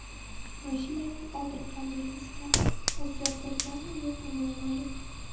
Mashinaning old raqam belgisi ham o‘zgartirilganmi-yo‘qmi, noma’lum.